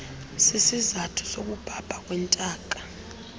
sisizathu sokubhabha kwentaka